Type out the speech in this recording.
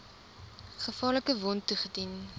gevaarlike wond toegedien